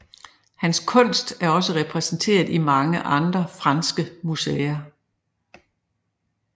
Hans kunst er også repræsenteret i mange andre franske museer